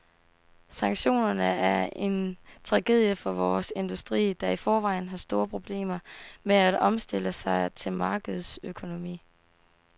Sanktionerne er en tragedie for vores industri, der i forvejen har store problemer med at omstille sig til markedsøkonomi.